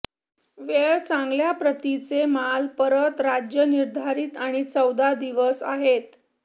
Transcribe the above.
वेळ चांगल्या प्रतीचे माल परत राज्य निर्धारित आणि चौदा दिवस आहेत